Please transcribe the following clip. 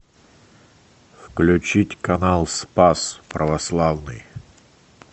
включить канал спас православный